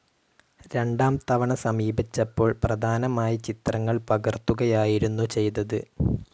രണ്ടാം തവണ സമീപിച്ചപ്പോൾ പ്രധാനമായി ചിത്രങ്ങൾ പകർത്തുകയായിരുന്നു ചെയ്തത്.